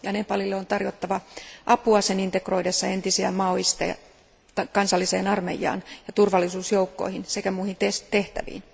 Nepalille on tarjottava apua sen integroidessa entisiä maolaisia kansalliseen armeijaan ja turvallisuusjoukkoihin sekä muihin tehtäviin.